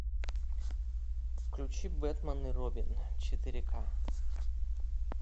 включи бэтмен и робин четыре к